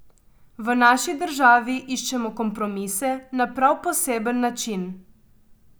V naši državi iščemo kompromise na prav poseben način.